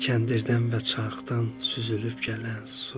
Kəndirdən və çaxdan süzülüb gələn su.